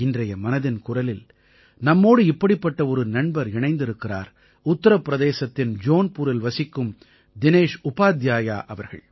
இன்றைய மனதின் குரலில் நம்மோடு இப்படிப்பட்ட ஒரு நண்பர் இணைந்திருக்கிறார் உத்தரப் பிரதேசத்தின் ஜோன்பூரில் வசிக்கும் தினேஷ் உபாத்யாயா அவர்கள்